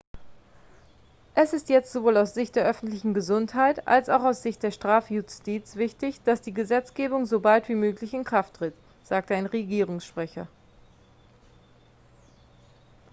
es ist jetzt sowohl aus sicht der öffentlichen gesundheit als auch aus sicht der strafjustiz wichtig dass die gesetzgebung so bald wie möglich in kraft tritt sagte ein regierungssprecher